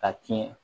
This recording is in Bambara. Ka tiɲɛ